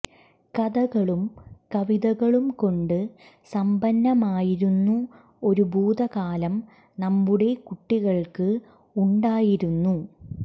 കഥകളും കവിതകളും കൊണ്ട് സമ്പന്നമായിരുന്നു ഒരു ഭൂതകാലം നമ്മുടെ കുട്ടികള്ക്ക് ഉണ്ടായിരുന്നു